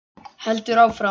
Heldur áfram: